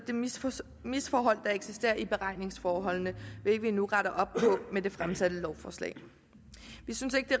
misforhold der eksisterer i beregningsforholdene hvilket vi nu retter op på med det fremsatte lovforslag vi synes ikke det